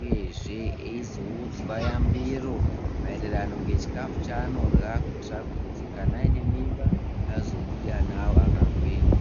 uyezve eizoudzwa yambiro maererano ngechikafu chaanorya. Kuitira kuti kana aine mimba azobude ana avo akagwinya.